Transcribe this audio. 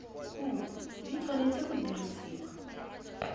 kumo di tshwanetse go dirisiwa